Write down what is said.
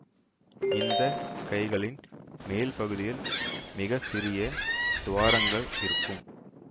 இந்த கைகளின் மேல் பகுதியில் மிக சிறிய துவாரங்கள் இருக்கும்